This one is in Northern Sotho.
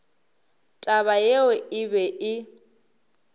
taba yeo e be e